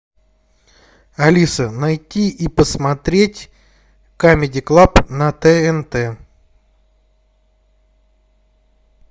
алиса найти и посмотреть камеди клаб на тнт